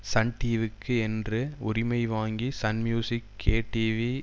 Sun டிவிக்கு என்று உரிமை வாங்கி சன் மியூசிக் கே டிவி